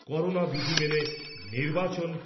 corona বিধি মেনে নির্বাচন